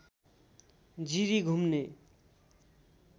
जिरी घुम्ने